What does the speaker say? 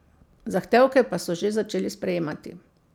Zahtevke pa so že začeli sprejemati.